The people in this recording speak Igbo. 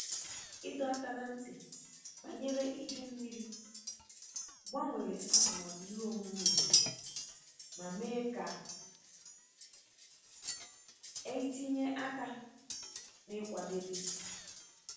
Ịdọ aka ná ntị banyere iju mmiri gbanwere atụmatụ ihe omume obodo ma mee ka eitinye aka n’ịkwadebe